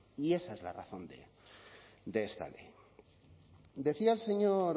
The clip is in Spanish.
y esa es la razón de esta ley decía el señor